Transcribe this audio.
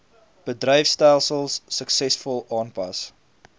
bedryfstelsels suksesvol aanpas